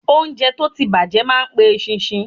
Óúnjẹ tó ti bàjẹ́ ma pe eṣinṣin.